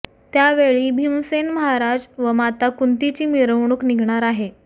त्यावेळी भीमसेन महाराज व माता कुंतीची मिरवणूक निघणार आहे